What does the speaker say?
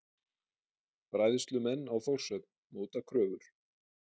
Bræðslumenn á Þórshöfn móta kröfur